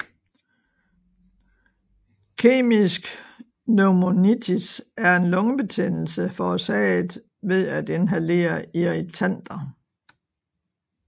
Kemisk pneumonitis er en lungebetændelse forårsaget ved at inhalere irritanter